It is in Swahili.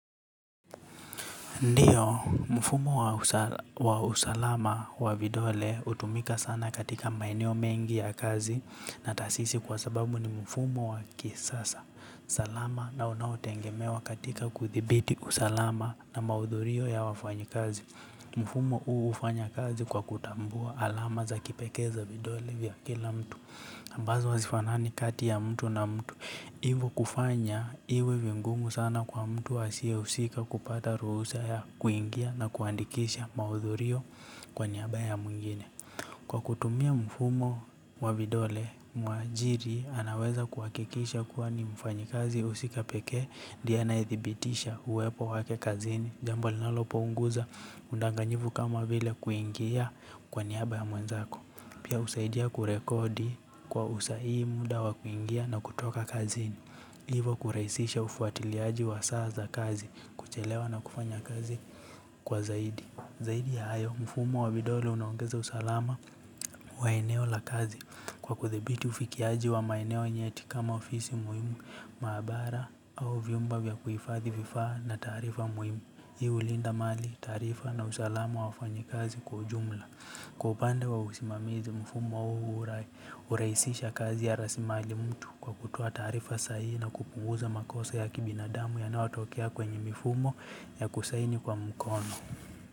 Ndio, mfumo wa usalama, wa vidole utumika sana katika maeneo mengi ya kazi na taasisi kwa sababu ni mfumo wa kisasa, salama na unaotengemewa katika kuthibiti usalama na maudhurio ya wafanyikazi. Mfumo uu ufanya kazi kwa kutambua alama za kipekee za vidole vya kila mtu. Mbazo hazifanani kati ya mtu na mtu. Ivo kufanya, iwe vingumu sana kwa mtu asie usika kupata ruhusa ya kuingia na kuandikisha maudhurio, kwa niaba ya mwingine. Kwa kutumia mfumo wa vidole, muajiri anaweza kuwakikisha kuwa ni mfanyikazi usika pekee, ndie anayethibitisha uwepo wake kazini, jambo linalopunguza, undanganyivu kama vile kuingia, kwa niaba ya mwenzako. Pia, usaidia kurekodi, kwa usahii muda wa kuingia na kutoka kazini. Hivo kuraisisha ufuatiliaji wa saa za kazi, kuchelewa na kufanya kazi kwa zaidi. Zaidi ya hayo, mfumo wa vidole unaongeza usalama wa eneo la kazi. Kwa kuthibiti ufikiaji wa maeneo nyeti kama ofisi muhimu, maabara au vyumba vya kuifadhi vifaa na taarifa muhimu. Hii ulinda mali, taarifa na usalama wafanyi kazi kwa jumla. Kwa upande wa usimamizi mfumo huu uraisisha kazi ya rasimali mtu. Kwa kutoa taarifa sahihi na kupunguza makosa ya kibinadamu yanayotokea kwenye mifumo, ya kusaini kwa mkono.